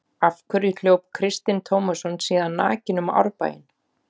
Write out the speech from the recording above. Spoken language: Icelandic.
Af hverju hljóp Kristinn Tómasson síðan nakinn um Árbæinn?